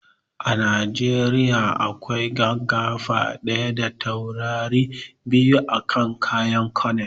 A najeriya akwai gaggafa ɗaya da taurari biyu a kan kayan colonel